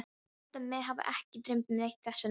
Ég held að mig hafi ekki dreymt neitt þessa nótt.